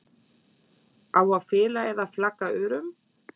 Á að fela eða flagga örum?